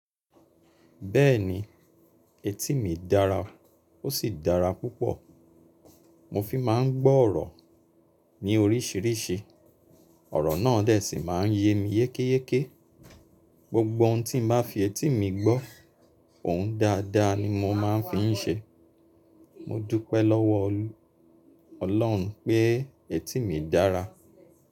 Bẹ́ẹ̀ni, etí mi dára, ó sì dára púpọ̀. Mo fi máa ń gbọ́ ọ̀rọ̀ ní oríṣiríṣi. Ọ̀rọ̀ náà dẹ̀ sí máa ń ye mi yékéyéké. Gbogbo ohun tí mo bá fi etí mi gbọ́, ohun dáadáa ni mo máa ń fi ń ṣe. Mo dúpẹ́ lọ́wọ́ ọlọ̀run pé etí mi dára.